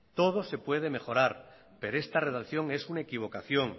todo se puede mejorar pero esta redacción es una equivocación